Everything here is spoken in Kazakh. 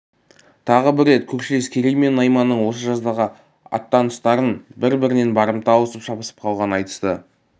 тағы бір рет көршілес керей мен найманның осы жаздағы аттаныстарын бір-бірінен барымта алысып шабысып қалғанын айтысты